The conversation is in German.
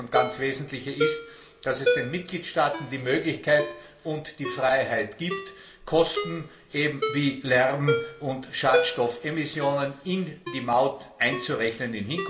Das dritte und ganz wesentliche ist, dass es den Mitgliedstaaten die Möglichkeit und die Freiheit gibt, Kosten wie Lärm und Schadstoffemissionen künftig in die Maut einzurechnen.